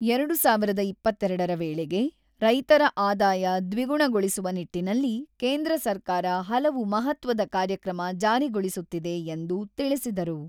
ಎರಡು ಸಾವಿರದ ಇಪ್ಪತ್ತೆರಡರ ವೇಳೆಗೆ, ರೈತರ ಆದಾಯ ದ್ವಿಗುಣಗೊಳಿಸುವ ನಿಟ್ಟಿನಲ್ಲಿ ಕೇಂದ್ರ ಸರ್ಕಾರ ಹಲವು ಮಹತ್ವದ ಕಾರ್ಯಕ್ರಮ ಜಾರಿಗೊಳಿಸುತ್ತಿದೆ ಎಂದು ತಿಳಿಸಿದರು.